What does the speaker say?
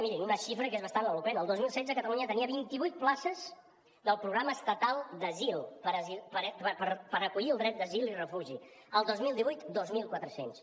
mirin una xifra que és bastant eloqüent el dos mil setze catalunya tenia vinti vuit places del programa estatal d’asil per acollir el dret d’asil i de refugi el dos mil divuit dos mil quatre cents